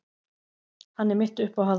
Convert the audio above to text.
Hann er mitt uppáhald.